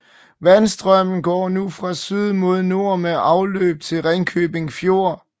Vandstrømmen går nu fra syd mod nord med afløb til Ringkøbing Fjord